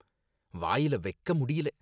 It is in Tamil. வாயில வைக்க முடியல